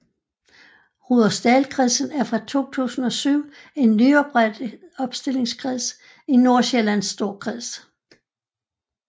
Rudersdalkredsen er fra 2007 en nyoprettet opstillingskreds i Nordsjællands Storkreds